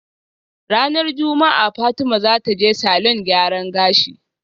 Ranar juma'a Fatima zataje salon gyaran gashi